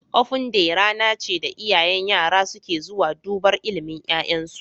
Ofen day rana ce da iyayen yara suke zuwa dubar ilimin ya'yansu